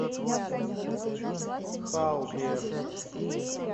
халбер